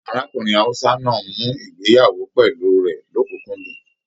Arákùnrin Hausa náà mú ìgbéyàwó pẹlú rẹ l'ọkunkundun.